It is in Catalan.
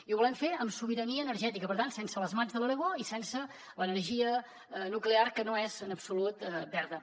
i ho volem fer amb sobirania energètica per tant sense les mats de l’aragó i sense l’energia nuclear que no és en absolut verda